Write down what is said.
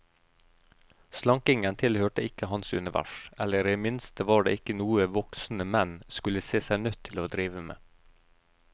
Slankingen tilhørte ikke hans univers, eller i det minste var det ikke noe voksne menn skulle se seg nødt til å drive med.